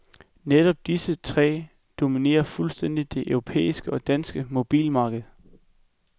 Netop disse tre dominerer fuldstændigt det europæiske og danske mobiltelefonmarked.